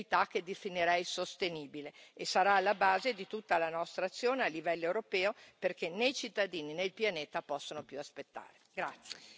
che è di equità che definirei sostenibile, e sarà alla base di tutta la nostra azione a livello europeo, perché né i cittadini né il pianeta possono più aspettare.